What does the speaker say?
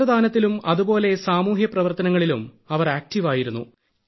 നേത്രദാനത്തിലും അതുപോലെ സാമൂഹ്യപ്രവർത്തനങ്ങളിലും അവർ ആക്ടീവ് ആയിരുന്നു